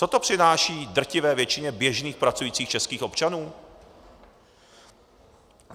Co to přináší drtivé většině běžných pracujících českých občanů?